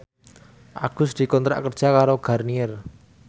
Agus dikontrak kerja karo Garnier